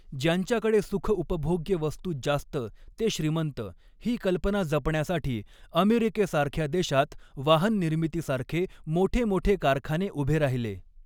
ज्यांच्याकडे सुखउपभोग्य वस्तू जास्त ते श्रीमंत ही कल्पना जपण्यासाठी अमेरिकेसारख्या देशात वाहन निर्मितीसारखे मोठे मोठे कारखाने उभे राहिले.